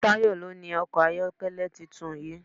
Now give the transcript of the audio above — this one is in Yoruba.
Tayọ ló ni ọkọ̀ ayọ́kẹ́lẹ́ tuntun yìí.